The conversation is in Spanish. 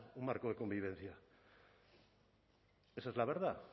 un marco de convivencia esa es la verdad